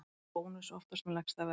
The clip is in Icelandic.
Bónus oftast með lægsta verðið